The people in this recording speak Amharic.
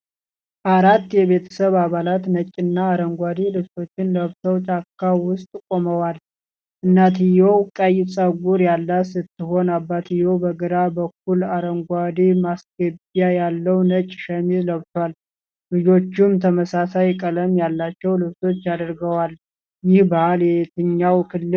አራት የቤተሰብ አባላት ነጭና አረንጓዴ ልብሶችን ለብሰው ጫካ ውስጥ ቆመዋል። እናትየው ቀይ ጸጉር ያላት ስትሆን፣ አባትየው በግራ በኩል አረንጓዴ ማስገቢያ ያለው ነጭ ሸሚዝ ለብሷል። ልጆቹም ተመሳሳይ ቀለም ያላቸው ልብሶች አድርገዋል። ይህ ባህል የትኛው ክልል ነው?